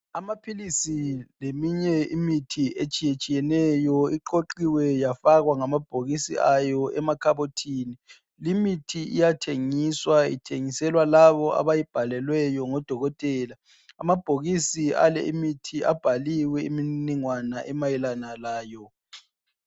Amaphilisi leminye imithi etshiyetshiyeneyo. Iqoqiwe yafakwa ngamabhokisi ayo emakhabothini. Limithi iyathengiswa ithengiselwa labo abayibhalelweyo ngodokotela. Amabhokisi ale imithi abhaliwe imniningwanga emayelana layo.